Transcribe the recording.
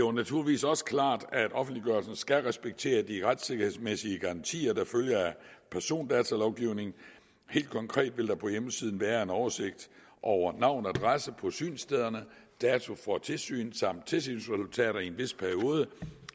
er naturligvis også klart at offentliggørelsen skal respektere de retssikkerhedsmæssige garantier der følger af persondatalovgivningen helt konkret vil der på hjemmesiden være en oversigt over navne og adresser på synsstederne dato for tilsyn samt tilsynsresultater i en vis periode